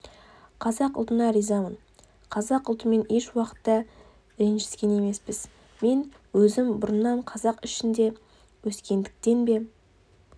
қазақ ұлтына ризамыз қазақ ұлтымен еш уақытта ренжіскен емеспіз мен өзім бұрыннан қазақ ішінде өскендіктен бе